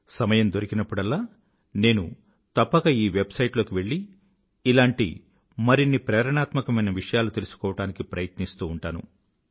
సమయం దొరికినప్పుడల్లా నేను తప్పక ఈ వెబ్సైట్ లోకి వెళ్ళి ఇలాంటి మరిన్ని ప్రేరణాత్మకమైన విషయాలను తెలుసుకోవడానికి ప్రయత్నిస్తూ ఉంటాను